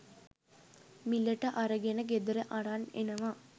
මිලට අරගෙන ගෙදර අරන් එනවා